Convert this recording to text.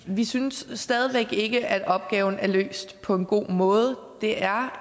vi synes stadig væk ikke at opgaven er løst på en god måde det er